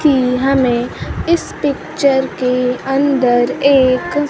कि हमें इस पिक्चर के अंदर एक--